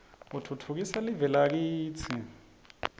utfutfukisa live lakitsi